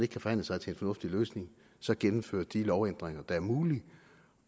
kan forhandle sig til en fornuftig løsning så at gennemføre de lovændringer der er mulige